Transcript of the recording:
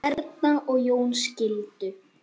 Erna og Jón skildu.